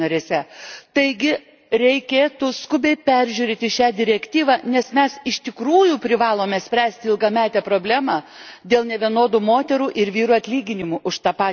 Taigi, reikėtų skubiai peržiūrėti šią direktyvą, nes mes iš tikrųjų privalome spręsti ilgametę problemą dėl nevienodų moterų ir vyrų atlyginimų už tą patį darbą.